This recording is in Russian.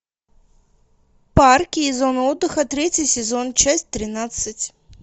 парки и зоны отдыха третий сезон часть тринадцать